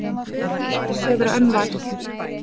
Doddi sefur enn vært.